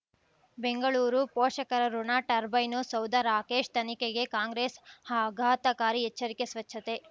ಬೆಂಗಳೂರು ಪೋಷಕರಋಣ ಟರ್ಬೈನು ಸೌಧ ರಾಕೇಶ್ ತನಿಖೆಗೆ ಕಾಂಗ್ರೆಸ್ ಆಘಾತಕಾರಿ ಎಚ್ಚರಿಕೆ ಸ್ವಚ್ಛತೆ